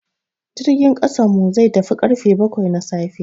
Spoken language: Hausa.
Jirgin kasan mu zai tafi karfe baƙwai na safe.